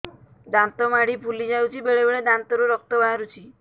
ଦାନ୍ତ ମାଢ଼ି ଫୁଲି ଯାଉଛି ବେଳେବେଳେ ଦାନ୍ତରୁ ରକ୍ତ ବାହାରୁଛି